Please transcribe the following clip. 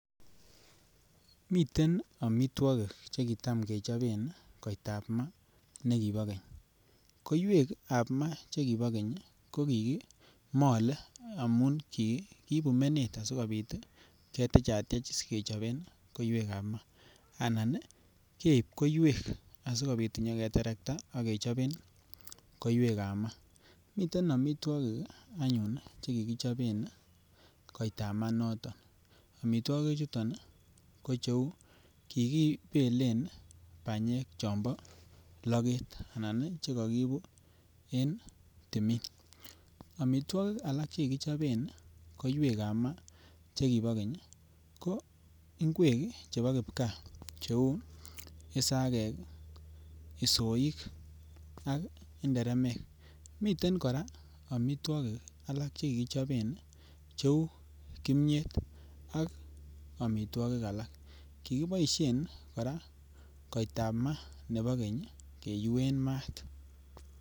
Miten amitwagik chekitam kechoben kotabmai nekibo Keny koiwek ab ma chekibo Keny kokikimale amun kiibu meet sikobit ketechatech sikobit kechoben koiwek ab ma keibbkoiwek sikobit kenyor keterkta sikechop koiwek ab ma miten amitwagik anyun chekikichoo en koitama inoton amitwagik chuton koucheu Che kibelen banyek cheu chebo laget akbchekakibu en tumin amitwagik alak chekichoben koiwek ab ma chekibo Keny ko ingwek chebobkipkaa ako isagek soik ak inderemek miten koraa amitwagik alak chekechopen cheu imiet akoamitwagik alak akobaishen kotaimannebo Keny keyuen mat